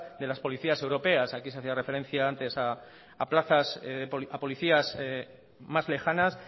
de las policías europeas aquí se hacía referencia antes a policías más lejanas